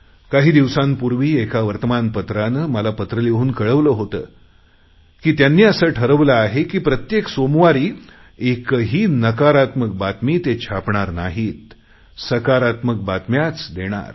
काही दिवसांपूर्वी एका वर्तमान पत्रानं मला पत्र लिहून कळवलं होतं की त्यांनी असं ठरवलं आहे की प्रत्येक सोमवारी एकही नकारात्मक बातमी ते छापणार नाहीत सकारात्मक बातम्याच देणार